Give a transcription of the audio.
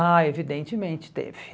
Ah, evidentemente teve.